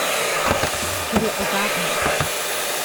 Ker je ogabna.